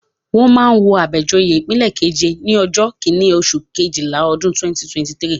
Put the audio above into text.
Wọ́n máa wo Abejoye ipin keje ní ọjọ́ kíní, oṣù Kejìlá, ọdún 2023.